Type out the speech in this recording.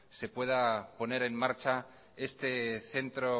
se pueda poner en marcha este centro